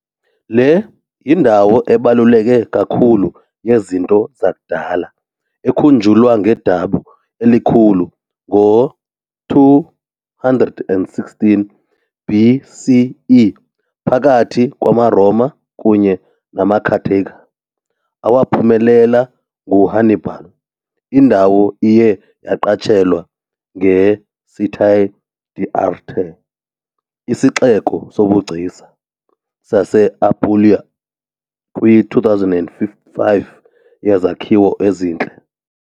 Le yindawo ebaluleke kakhulu yezinto zakudala, ekhunjulwa ngedabi elikhulu ngo-216 BCE phakathi kwamaRoma kunye namaCarthage, awaphumelela nguHannibal. Indawo iye yaqatshelwa njenge-Città d'Arte, isixeko sobugcisa, sase-Apulia kwi-2005 yezakhiwo ezintle.